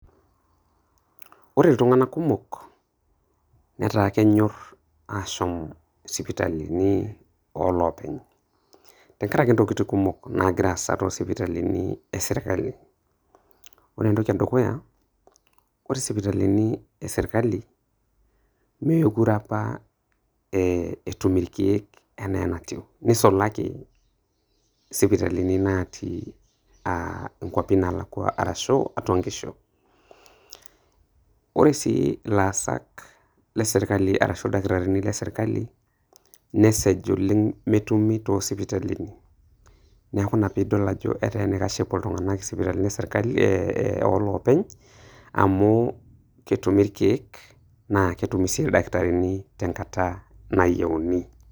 Ore iltunganak kumok netaa kenyor ashom sipitalini oloopeny tenkaraki ntokitin kumok naagira aasa toospitalini e sirkali , ore entoki edukuya : ore sipitalini e sirkali mee kure apa etum irkieek enaa enatiu neisulaki sipitalini natii nkwapi naalakwa ashu atwa nkishu ,ore sii ilaasak le sirkali arashu ildakitarini le sirkali nesej oleng metumi too sirkalini neaku ina pidol ajo etaa enaikash peepuo iltunganak sipitali olopeny amu ketumi irkiek naa ketumi sii ildakitarini tenkata nayieuni